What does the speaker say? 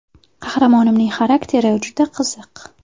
Qahramonimning xarakteri juda qiziq.